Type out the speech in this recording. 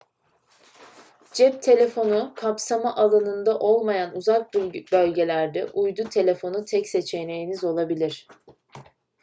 cep telefonu kapsama alanında olmayan uzak bölgelerde uydu telefonu tek seçeneğiniz olabilir